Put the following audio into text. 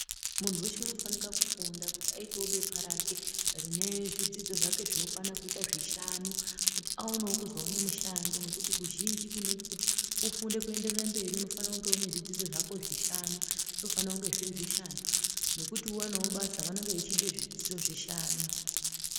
Muntu weche unofanika kufunda kuti aitewo bepa rake rine zvidzidzo zvake zvinokwana kuite zvishanu kuti aone kuzoone mushando nokuti kuzhinji kunoti kuti ufunde kuendereraberi unofanira kunge unezvidzidzo zvishanu zvinofanire kunge zviri zvishanu nokuti uwanewo basa vanenge vechide zvidzidzo zvishanu.